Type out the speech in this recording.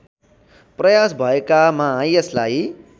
प्रयास भएकामा यसलाई